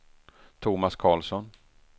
Thomas Karlsson